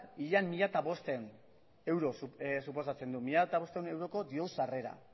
ia mila bostehun euro suposatzen du mila bostehun euroko diru sarrera